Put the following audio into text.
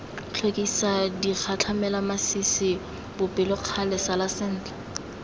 tlhokisa digatlhamelamasisi bopelokgale sala sentle